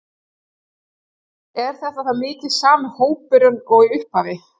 Er þetta þá mikið sami hópurinn og í upphafi?